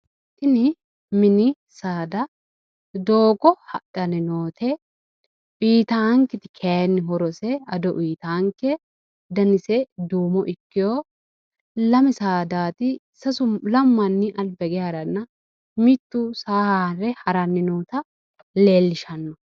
tini mini saada doogo hadhanni noote, uyiitaakketi kayiinni horose ado uyiitaanke danise duumo ikkeeho ,lame saadaati lamu manni alba hige haranna mittu saa haare haranni nooota leellishanno.